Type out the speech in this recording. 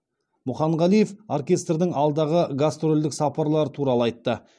мұханғалиев оркестрдің алдағы гастрольдік сапарлары туралы айтты